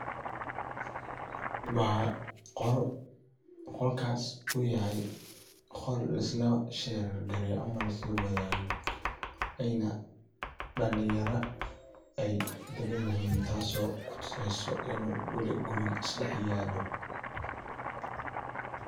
Waa qol, qolkas uyahay qol lisla share gareyneso ama lisla wadhago ena dalin yara ee dagan yihin taso oo ku tuseso in weli guriga isdax yalo.